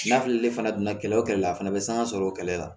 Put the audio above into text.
N'a fɔli fana donna kɛlɛ o kɛlɛ la a fana bɛ sanga sɔrɔ o kɛlɛ la